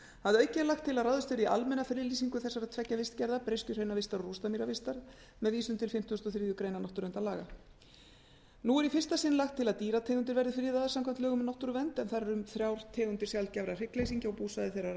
að auki er lagt til að ráðist verði í almenna friðlýsingu þessara tveggja vistgerða breiskjuhraunavistar og rústamýravistar með vísun til fimmtugasta og þriðju grein náttúruverndarlaga nú er í fyrsta sinn lagt til að dýrategundir verði friðaðar samkvæmt lögum um náttúruvernd en þar er um þrjár tegundir sjaldgæfra hryggleysingja og búsvæði